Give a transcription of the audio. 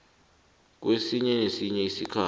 kwesinye nesinye isikhathi